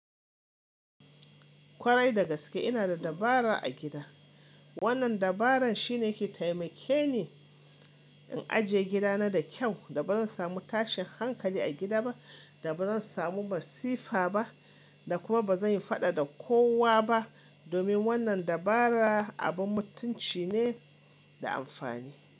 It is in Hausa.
Kwarai da gaske ina da dabara a gida. Wannan dabaran shine ke taimake ni, in ajiye gidana da kyau, da ba zan samu tashin hankali a gida ba, da ba zan samu masifa ba, da kuma ba zan yi faɗa da kowa ba. Domin wannan dabara abun mutunci ne da amfani.